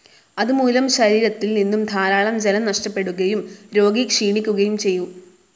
അതുമൂലം ശരീരത്തിൽ നിന്നും ധാരാളം ജലം നഷ്ടപ്പെടുകയും രോഗി ക്ഷീണിക്കുകയും ചെയ്യും.